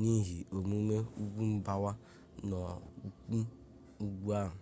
n'ihe omume ugwu mgbawa n'ụkwụ ugwu ahụ